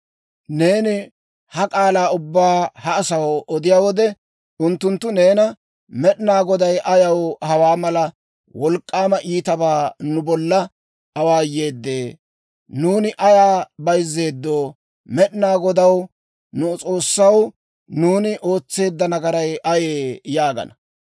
«Neeni ha k'aalaa ubbaa ha asaw odiyaa wode, unttunttu neena, Med'inaa Goday ayaw hawaa mala wolk'k'aama iitabaa nu bolla awaayeedee? Nuuni ayaa bayzzeeddo? Med'inaa Godaw, nu S'oossaw, ‹nuuni ootseedda nagaray ayee?› yaagana.